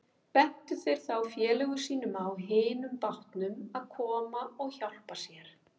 Bentu þeir þá félögum sínum á hinum bátnum að koma og hjálpa sér.